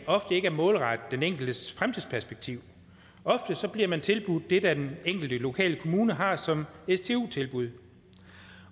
ofte ikke er målrettet den enkeltes fremtidsperspektiv ofte bliver man tilbudt det den enkelte lokale kommune har som stu tilbud